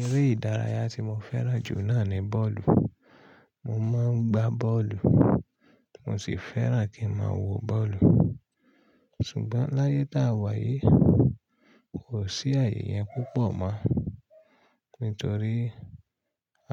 Eré ìdárayá tí mo fẹ́ràn jù náà ni bọ́ọ̀lù. Mo má ń gbá bọ́ọ̀lù, mo sì fẹ́ràn kí n má a wo bọ́ọ̀lù. Ṣùgbọ́n láyé tá a wà yìí, kò sí ayẹ yen púpọ̀ mọ́, nítorí